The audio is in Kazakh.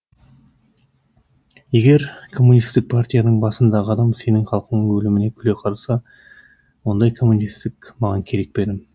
егер коммунистік партияның басындағы адам сенің халқыңның өліміне күле қараса ондай коммунистік маған керек пе інім